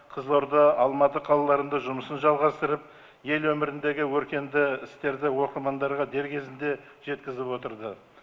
қызылорда алматы қалаларында жұмысын жалғастырып ел өміріндегі өркенді істерді оқырмандарға дер кезінде жеткізіп отырды